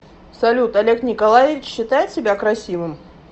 салют олег николаевич считает себя красивым